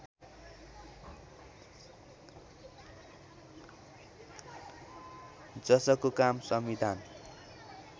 जसको काम संविधान